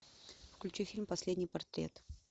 включи фильм последний портрет